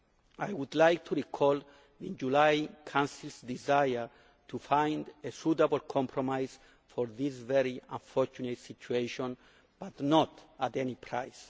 I would like to recall the July Council's desire to find a suitable compromise for this very unfortunate situation, but not at any price.